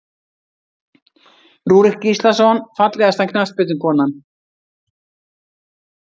Rúrik Gíslason Fallegasta knattspyrnukonan?